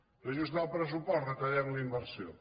reajustar el pressupost retallem la inversió